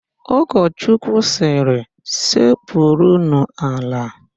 Ụkọchukwu sịrị, "sekpurunu ala"!